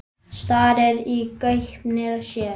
Starir í gaupnir sér.